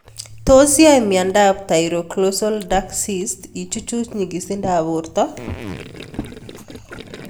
Tos yae miondop thyroglossal duct cysts ichuchuch nyigisindop porto?